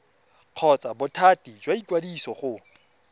kgotsa bothati jwa ikwadiso go